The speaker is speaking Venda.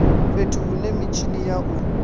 fhethu hune mitshini ya u